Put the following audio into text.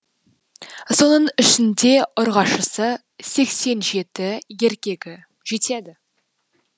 соның ішінде ұрғашысы сексен жеті еркегі жетеді